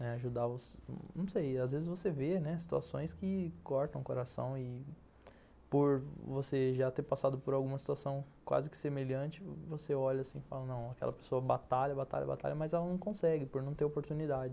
Ajudar os, não sei, às vezes você vê, né, situações que cortam o coração e por você já ter passado por alguma situação quase que semelhante, você olha assim e fala, não, aquela pessoa batalha, batalha, batalha, mas ela não consegue por não ter oportunidade.